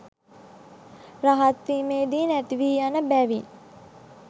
රහත් වීමේදි නැතිවී යන බැවින්